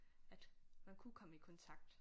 At man kunne komme i kontakt